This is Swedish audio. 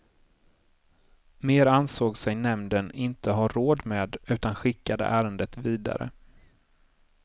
Mer ansåg sig nämnden inte ha råd med utan skickade ärendet vidare.